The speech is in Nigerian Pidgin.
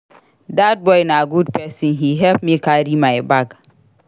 Dat boy na good person he help me carry my bag